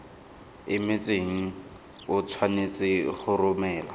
emetseng o tshwanetse go romela